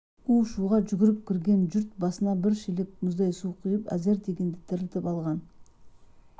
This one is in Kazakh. у-шуға жүгіріп кірген жұрт басына бір шелек мұздай су құйып әзер дегенде тірілтіп алған